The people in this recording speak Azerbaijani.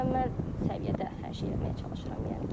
Mükəmməl səviyyədə hər şey eləməyə çalışıram, yəni ki.